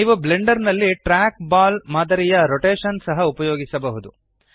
ನೀವು ಬ್ಲೆಂಡರ್ ನಲ್ಲಿ trackball ಮಾದರಿಯ ರೊಟೇಶನ್ ಸಹ ಉಪಯೋಗಿಸಬಹುದು